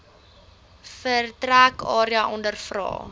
vertrek area ondervra